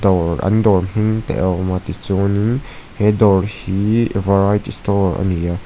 dawr an dawr hming te a awm a tichuanin he dawr hi variety store ani a.